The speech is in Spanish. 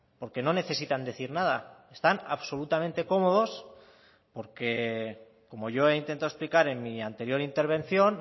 porque no necesitan decir nada están absolutamente cómodos porque como yo he intentado explicar en mi anterior intervención